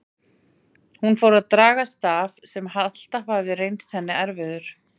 Hún fór að draga staf sem alltaf hafði reynst henni erfiður.